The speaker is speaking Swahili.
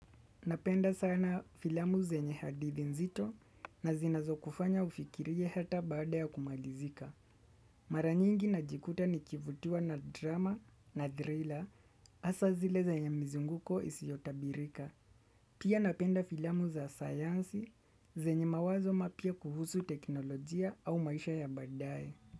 Napenda sana filamu zenye hadithi nzito na zinazo kufanya ufikirie hata baada ya kumalizika. Maranyingi na jikuta ni kivutua na drama na thriller hasa zile zenye mzunguko isiotabirika. Pia napenda filamu za sayansi zenye mawazo mapya kuhusu teknolojia au maisha ya badaye.